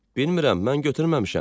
Bilmirem, mən götürməmişəm.